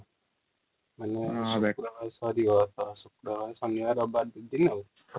ଶନିବାର ରବିବାର ୨ ଦିନ ଆଉ |